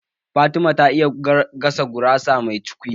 Fatima ta iya gasa gurasa mai cukwi